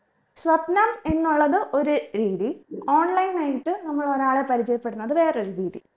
സ്വപ്നം എന്നുള്ളത് ഒരു രീതി online ആയിട്ട് നമ്മൾ ഒരാളെ പരിചയപ്പെടുന്നത് വേറൊര് രീതി